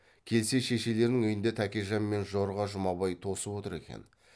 келсе шешелердің үйінде тәкежан мен жорға жұмабай тосып отыр екен